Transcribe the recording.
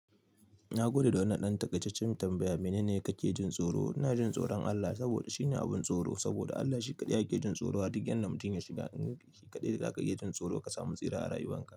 Na gode da wannan ɗan takaitaccen tambaya, mene ne kake jin tsoro? Ina jin tsoron Allah saboda shine abin tsoro. Saboda Allah shi kaɗai ake jin tsoro. A duk yanda mutum ya shiga, shi kaɗai za ka iya jin tsoro ka samu tsira a rayuwan ka.